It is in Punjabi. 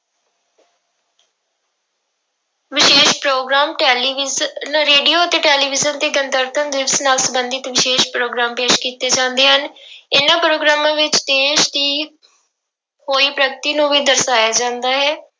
ਵਿਸ਼ੇਸ਼ ਪ੍ਰੋਗਰਾਮ ਟੈਲੀਵਿਜ਼ਨ, ਰੇਡੀਓ ਅਤੇ ਟੈਲੀਵਿਜ਼ਨ ਤੇ ਗਣਤੰਤਰ ਦਿਵਸ ਨਾਲ ਸੰਬੰਧਿਤ ਵਿਸ਼ੇਸ਼ ਪ੍ਰੋਗਰਾਮ ਪੇਸ ਕੀਤੇ ਜਾਂਦੇ ਹਨ ਇਹਨਾਂ ਪ੍ਰੋਗਰਾਮਾਂ ਵਿੱਚ ਦੇਸ ਦੀ ਹੋਈ ਪ੍ਰਗਤੀ ਨੂੂੰ ਵੀ ਦਰਸਾਇਆ ਜਾਂਦਾ ਹੈ।